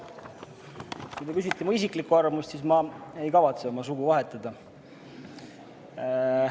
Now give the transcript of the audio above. Kui te küsite minu isiklikku arvamust, siis ma ei kavatse oma sugu vahetada.